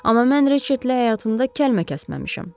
Amma mən Reçetlə həyatımda kəlmə kəsməmişəm.